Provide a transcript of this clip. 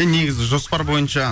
і негізі жоспар бойынша